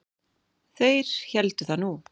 Þeir héldu það nú.